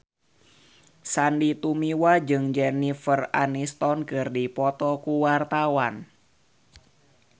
Sandy Tumiwa jeung Jennifer Aniston keur dipoto ku wartawan